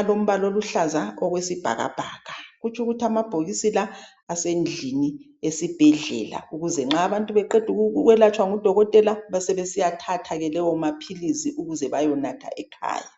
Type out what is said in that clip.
alombala oluhlaza okwesibhakabhaka, kutsho ukuthi amabhokisi la asendlini esibhedlela ukuze nxa abantu bengaqeda ukuyelatshwa ngudokotela bese besiyathatha lawo amaphilisi ukuze bayenatha ekhaya .